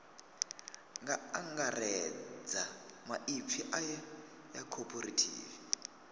nga angaredza maipfi aya cooperative